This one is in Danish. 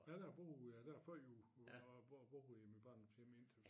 Ja der har jeg boet ja før jo hvor jeg boet i mit barndomshjem indtil